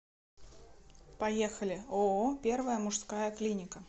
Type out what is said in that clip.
поехали ооо первая мужская клиника